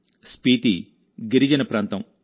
స్పీతీ గిరిజన ప్రాంతం